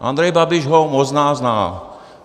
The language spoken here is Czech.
Andrej Babiš ho možná zná.